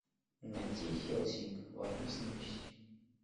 найти хелсинг война с нечистью